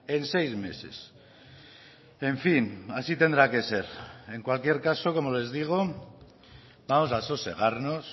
en seis meses en fin así tendrá que ser en cualquier caso como les digo vamos a sosegarnos